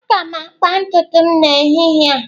Aga m akpa ntutu m n'ehihie a.